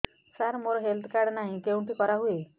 ସାର ମୋର health card ନାହିଁ କେଉଁଠି କରା ହୁଏ